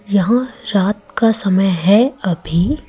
यहां रात का समय है अभी--